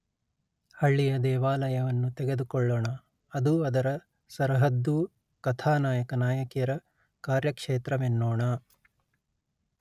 ಹಳ್ಳಿಯ ದೇವಾಲಯವನ್ನು ತೆಗೆದುಕೊಳ್ಳೋಣ ಅದೂ ಅದರ ಸರಹದ್ದೂ ಕಥಾನಾಯಕ ನಾಯಕಿಯರ ಕಾರ್ಯಕ್ಷೇತ್ರವೆನ್ನೋಣ